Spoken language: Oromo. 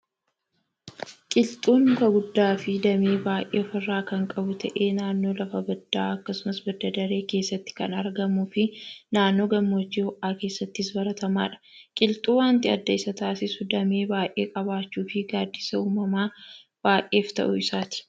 Qilxuun muka guddaa fi dammee baayyee ofirraa kan qabu ta'ee naannoo lafa baddaa akkasumas baddadaree keessatti kan argamuu fii naannoo hammoojjii ho'aa keessattis baratamaadha. Qilxuu wanti adda isa taasisu dammee baayyee qabaachuu fii gaddisa uumama baayyeef ta'uu isaati.